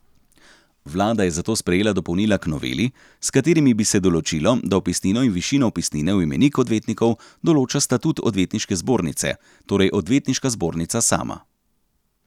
Vlada je zato sprejela dopolnila k noveli, s katerimi bi se določilo, da vpisnino in višino vpisnine v imenik odvetnikov določa statut odvetniške zbornice, torej odvetniška zbornica sama.